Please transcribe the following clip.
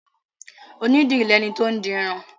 Onídìrí lẹni tó ń dirun.